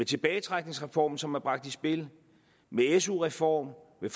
tilbagetrækningsreform som er bragt i spil med en su reform med